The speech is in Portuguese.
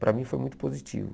Para mim, foi muito positivo.